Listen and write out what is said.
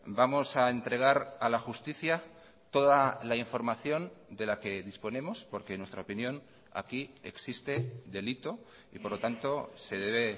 vamos a entregar a la justicia toda la información de la que disponemos porque en nuestra opinión aquí existe delito y por lo tanto se debe